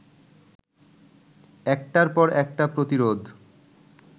একটার পর একটা প্রতিরোধ